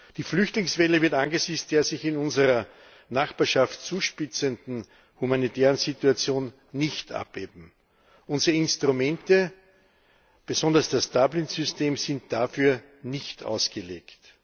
Die Flüchtlingswelle wird angesichts der sich in unserer Nachbarschaft zuspitzenden humanitären Situation nicht abebben. Unsere Instrumente besonders das Dublin System sind dafür nicht ausgelegt.